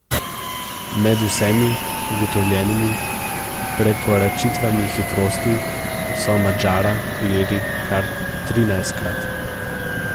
Med vsemi ugotovljenimi prekoračitvami hitrosti so Madžara ujeli kar trinajstkrat.